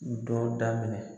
u dɔw daminɛ.